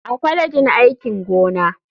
A kwalejin aikin gona.